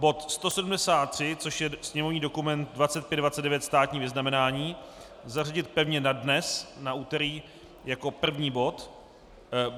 Bod 173, což je sněmovní dokument 2529, státní vyznamenání, zařadit pevně na dnes, na úterý, jako první bod.